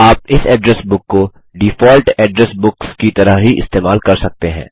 आप इस address book को डिफ़ॉल्ट एड्रेस बुक्स की तरह ही इस्तेमाल कर सकते हैं